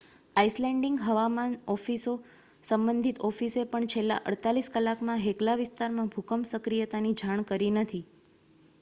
Icelandic હવામાન સંબંધિત ઓફિસે પણ છેલ્લાં 48 કલાકમાં હેકલા વિસ્તારમાં ભૂકંપ સક્રિયતાની જાણ કરી નથી